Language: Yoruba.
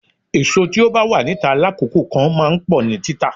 Èso tí ó bá wà níta lákòókò kan máa ń pọ̀ ní títà.